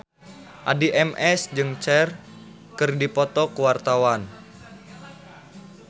Addie MS jeung Cher keur dipoto ku wartawan